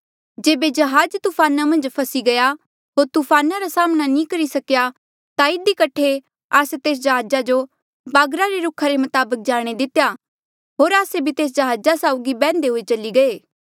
जेबे जहाज तूफाना मन्झ फसी गया होर तूफान रा साम्हणां नी करी सकेया ता इधी कठे आस्से तेस जहाजा जो बागर रे रुखा रे मताबक जाणे दितेया होर आस्से भी तेस जहाजा साउगी बैह्न्दे हुए चली गये